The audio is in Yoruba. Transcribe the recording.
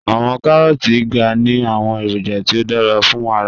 Awọn Karooti ga ni awọn eroja ti o dara fun ara